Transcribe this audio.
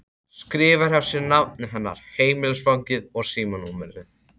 Skrifar hjá sér nafnið hennar, heimilisfangið og símanúmerið.